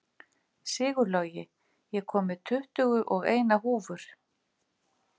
Sigurlogi, ég kom með tuttugu og eina húfur!